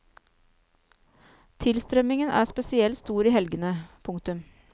Tilstrømningen er spesielt stor i helgene. punktum